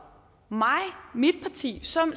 mit parti som